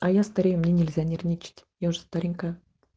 а я старею мне нельзя нервничать я уже старенькая